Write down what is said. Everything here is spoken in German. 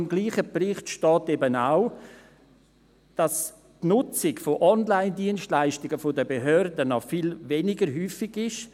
Im selben Bericht steht aber auch, dass die Nutzung von Online-Dienstleistungen der Behörden noch viel weniger häufig ist.